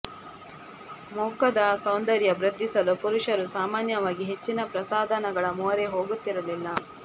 ಮುಖದ ಸೌಂದರ್ಯ ವೃದ್ದಿಸಲು ಪುರುಷರು ಸಾಮಾನ್ಯವಾಗಿ ಹೆಚ್ಚಿನ ಪ್ರಸಾಧನಗಳ ಮೊರೆ ಹೋಗುತ್ತಿರಲಿಲ್ಲ